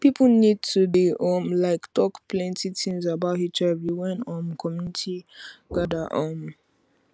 people need to dey um like talk plenty things about hiv when um community gather um